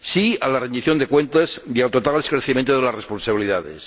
¡Sí a la rendición de cuentas y a tratar el esclarecimiento de las responsabilidades!